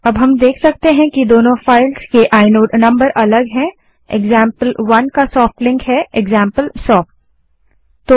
अब हम देख सकते हैं कि दोनों फाइल्स के आइनोड नंबर अलग हैं एक्जाम्पल1 का सोफ्ट लिंक एक्जाम्पलसॉफ्ट है